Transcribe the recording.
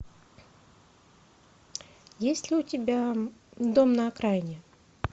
есть ли у тебя дом на окраине